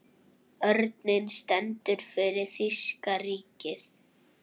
Örninn stendur fyrir þýska ríkið.